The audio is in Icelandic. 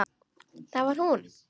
Það var hún.